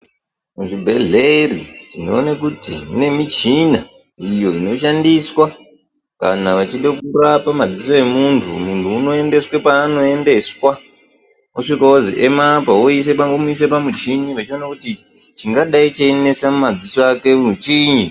Muzvibhedhlera tinoona kuti mune michina iyo inoshandiswa kana vachide kurapa maziso emuntu muntu unoendeswa paanoendeswa osvika ozi emapo woisa pamuchini woona kuti chingadai cheishupa pamadziso akepo chiinyi .